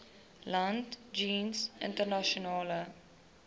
land jeens internasionale